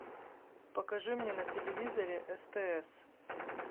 покажи мне на телевизоре стс